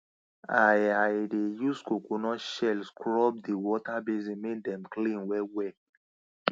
i i dey use coconut shell scrub di water basin make dem clean wellwell